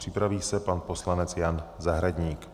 Připraví se pan poslanec Jan Zahradník.